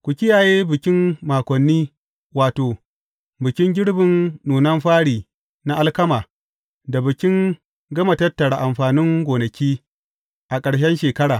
Ku kiyaye Bikin Makoni wato, bikin girbin nunan fari na alkama, da Bikin Gama Tattara amfanin gonaki, a ƙarshen shekara.